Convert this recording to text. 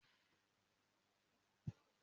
Mo ma ra gúọ́và fún ẹ.